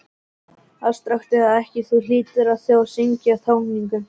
Afstrakt eða ekki, Þú hlýtur þó að skynja tjáninguna.